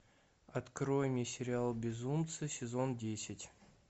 открой мне сериал безумцы сезон десять